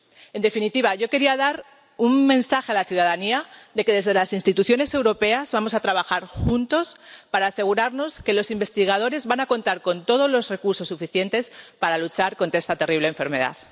En definitiva, yo quería dar un mensaje a la ciudadanía de que, desde las instituciones europeas, vamos a trabajar juntos para asegurarnos de que los investigadores van a contar con todos los recursos suficientes para luchar contra esta terrible enfermedad.